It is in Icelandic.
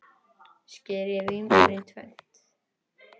Skerið vínber í tvennt.